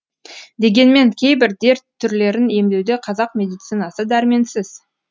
дегенмен кейбір дерт түрлерін емдеуде қазақ медицинасы дәрменсіз